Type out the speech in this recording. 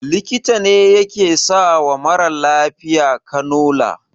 Likita ne yake sawa mara lafiya kanula